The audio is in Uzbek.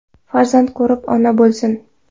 Farzand ko‘rib, ona bo‘lsin.